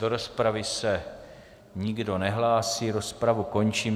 Do rozpravy se nikdo nehlásí, rozpravu končím.